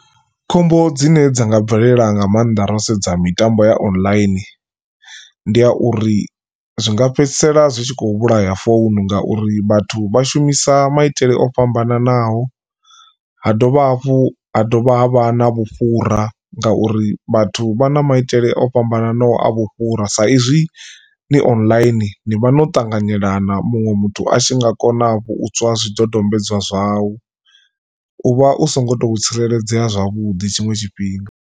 Khombo dzine dza nga bvelela nga maanḓa ro sedza mitambo ya online ndi ya uri zwi nga fhedzisela zwitshi kho vhulaya founu ngauri vhathu vha shumisa maitele o fhambananaho, ha dovha hafhu ha dovha ha vha na vhufhura ngauri vhathu vha na maitele o fhambananaho a vhufhura sa izwi ni online ni vha no ṱanganyelana muṅwe muthu a tshi nga kona u tswa zwidodombedzwa zwau u vha u songo to tsireledzea zwavhuḓi tshiṅwe tshifhinga.